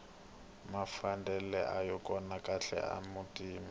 mafadeni aya kona kahle la mutini